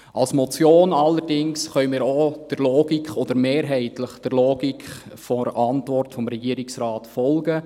Betreffend die Motion allerdings können wir mehrheitlich der Logik der Antwort des Regierungsrates folgen.